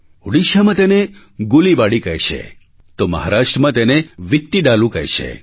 ઉડીશામાં તેને ગુલિબાડી કહે છે તો મહારાષ્ટ્રમાં તેને વિત્તિડાલુ કહે છે